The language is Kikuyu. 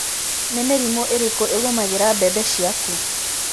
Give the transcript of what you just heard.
Nĩ mĩrimũ ĩrĩkũ ĩgũmagĩra mbembe ciaku?